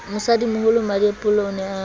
mosadimoholo mmadiepollo o ne a